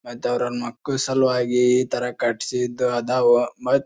ಮತ್ ಅವ್ರ ಮಕ್ಕಳ್ ಸಲುವಾಗಿ ಈ ತರ ಕಟ್ಸಿದ್ ಅದಾವ ಮತ್ --